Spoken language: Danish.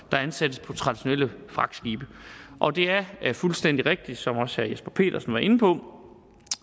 der ansættes på traditionelle fragtskibe og det er fuldstændig rigtigt som også herre jesper petersen var inde på